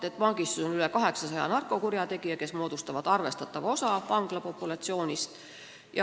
Näiteks on vangistuses üle 800 narkokurjategija, kes moodustavad arvestatava osa vanglapopulatsioonist.